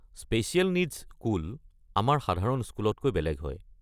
Special needs school আমাৰ সাধাৰণ স্কুলতকৈ বেলেগ হয়।